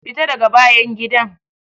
Fita daga bayan gidan!